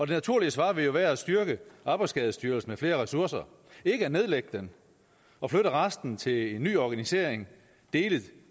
naturlige svar vil jo være at styrke arbejdsskadestyrelsen med flere ressourcer ikke at nedlægge den og flytte resten til en ny organisation dele